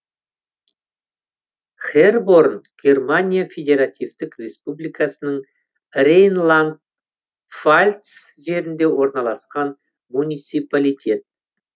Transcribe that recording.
херборн германия федеративтік республикасының рейнланд пфальц жерінде орналасқан муниципалитет